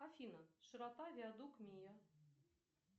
афина широта виадук миа